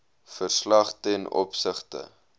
verslag ten opsigte